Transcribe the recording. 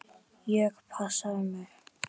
Ég passa ömmu.